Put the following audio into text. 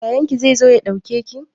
Yayan ki zai zo ya ɗauke ki?